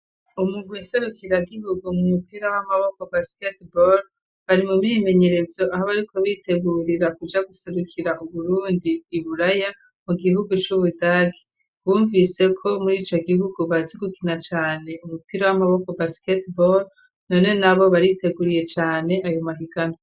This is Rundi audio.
Umurwi nserukira Gihugu mu mupira w'amaboko basketeball bari mu myimenyerezo aho bariko bitegurira kuja guserukira uburundi iburaya mu gihugu c'ubudage .Bumvise ko muri ico gihugu bazi gukina cane umupira w'amaboko basket ball none nabo bariteguriye cane ayo mahiganwa.